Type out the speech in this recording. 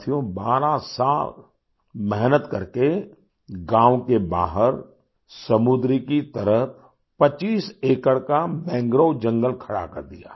साथियों 12 साल मेहनत करके गांव के बाहर समुन्द्र की तरफ 25 एकड़ का मैंग्रोव जंगल खड़ा कर दिया